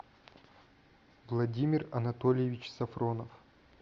владимир анатольевич сафронов